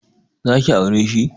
Zaki aure shi?